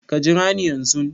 Ka jira ni yanzun